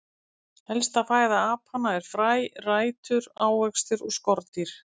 Helsta fæða apanna er fræ, rætur, ávextir og skordýr.